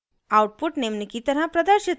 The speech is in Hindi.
output निम्न की तरह प्रदर्शित होता है: